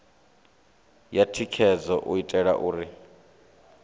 ya thikhedzo u itela uri